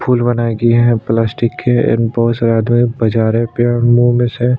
फूल बनाया गया है की यह प्लास्टिक के एंड बहुत सारा जो है बजा रहा है पैर मुंह में से--